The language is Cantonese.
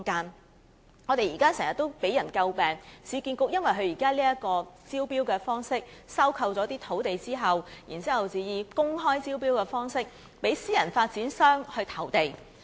市建局現時的招標方式一直為人詬病，因為它收購土地後，採用公開招標的方式讓私人發展商投地。